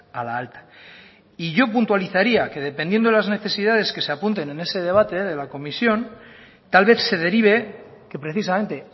a la alta y yo puntualizaría que dependiendo de las necesidades que se apunten en ese debate de la comisión tal vez se derive que precisamente